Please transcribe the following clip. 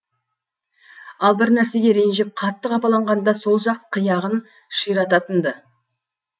ал бір нәрсеге ренжіп қатты қапаланғанда сол жақ қияғын ширататын ды